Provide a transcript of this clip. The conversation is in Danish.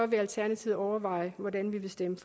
vil alternativet overveje hvordan vi vil stemme